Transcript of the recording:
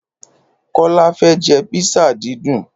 Kólá fẹ́ jẹ písà dídùn.